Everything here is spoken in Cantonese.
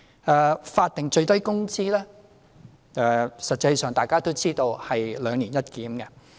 在法定最低工資方面，實際上大家都知道是"兩年一檢"。